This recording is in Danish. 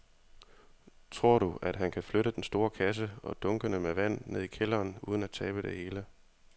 Tror du, at han kan flytte den store kasse og dunkene med vand ned i kælderen uden at tabe det hele?